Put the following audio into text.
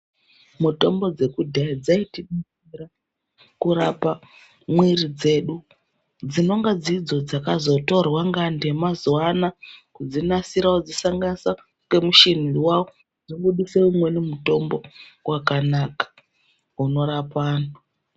Mutombo dze kudhaya dzaiti detsera kurapa mwiri dzedu dzinonga dzidzo dzakazo torwa nge antu ema zuva ano kudzi nasira kudzi sanganisa nge mushini wawo dzo budise umweni mutombo wakanaka unorapa anhu.